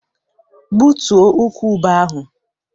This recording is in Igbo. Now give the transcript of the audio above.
Gbutuo ukwu ube ahụ!